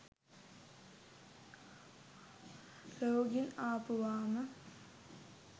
රෝගීන් ආපුවාම